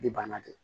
Ni bana don